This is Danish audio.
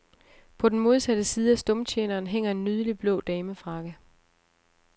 På den modsatte side af stumtjeneren hænger en nydelig blå damefrakke.